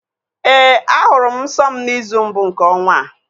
Ee, ahụrụ m nsọ m n'izu mbụ nke ọnwa a